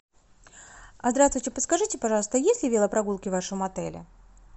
а здравствуйте подскажите пожалуйста есть ли велопрогулки в вашем отеле